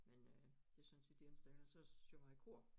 Men øh det er sådan set det eneste ellers så synger jeg i kor